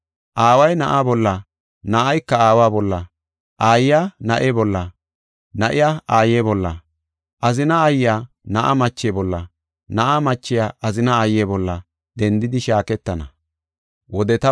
Aaway na7aa bolla, na7ayka aawa bolla, aayiya na7e bolla, na7iya aaye bolla, azinaa aayiya na7a mache bolla, na7a machiya azina aaye bolla, dendidi shaaketana.”